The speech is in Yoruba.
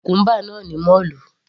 Mo ra cucumber náà ní mọ́ọ̀lù.